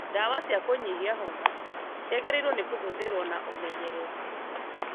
Ndawa cia kũnyihia homa ciagĩrĩirwo nĩ kũhũthĩrwo na ũmenyereri